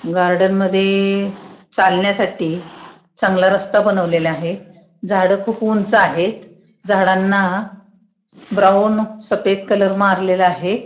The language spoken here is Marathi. गार्डन मध्ये चालण्यासाठी चांगला रस्ता बनवलेला आहे झाड खुप उंच आहेत झाडांना ब्राऊन सफेद कलर मारलेला आहे.